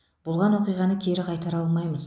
болған оқиғаны кері қайтара алмаймыз